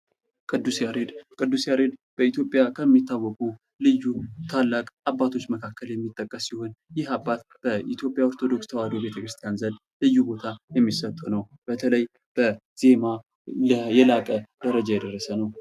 ቅዱስ ያሬድ ቅዱስ ያሬድ በኢትዮጵያ ከሚታወቁ ልዩ ታላቅ አባቶች መካከል የሚጠቀስ ሲሆን፤ ይህ አባት በኢትዮጵያ ኦርቶዶክስ ተዋሕዶ ቤተ ክርስቲያን ዘንድ ልዩ ቦታ የሚሰጥ ነው። በተለይ በዜማ ሌላ የላቀ ደረጃ የደረሰ ነው።